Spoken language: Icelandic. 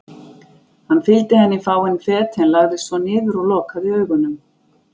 Hann fylgdi henni fáein fet en lagðist svo niður og lokaði augunum.